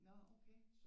Nå okay